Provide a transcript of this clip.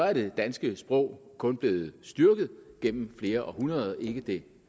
er det danske sprog kun blevet styrket gennem flere århundreder ikke det